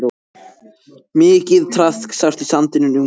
Mikið traðk sást í sandinum umhverfis.